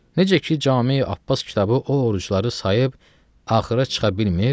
Necə ki, Cami Abbas kitabı o orucları sayıb axıra çıxa bilmir.